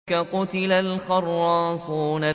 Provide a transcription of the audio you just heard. قُتِلَ الْخَرَّاصُونَ